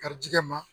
Garijɛgɛ ma